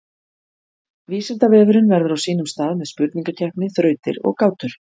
Vísindavefurinn verður á sínum stað með spurningakeppni, þrautir og gátur.